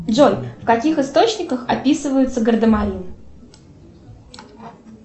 джой в каких источниках описываются гардемарины